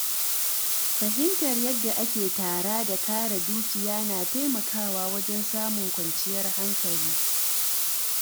Fahimtar yadda ake tara da kare dukiya na taimakawa wajen samun kwanciyar hankali.